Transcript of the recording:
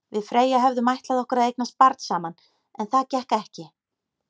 Við Freyja höfðum ætlað okkur að eignast barn saman, en það gekk ekki.